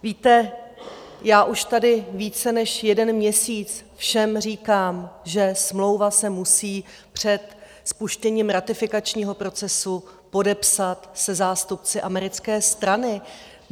Víte, já už tady více než jeden měsíc všem říkám, že smlouva se musí před spuštěním ratifikačního procesu podepsat se zástupci americké strany.